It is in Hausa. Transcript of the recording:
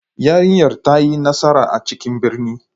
Yarinyar ta yi nasara a cikin birni.